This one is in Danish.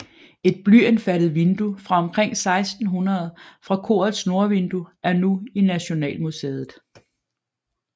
Et blyindfattet vindue fra omkring 1600 fra korets nordvindue er nu i Nationalmuseet